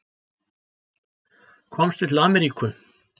Komstu til Ameríku?